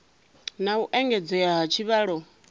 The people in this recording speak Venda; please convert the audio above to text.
na u engedzedzea ha tshivhalo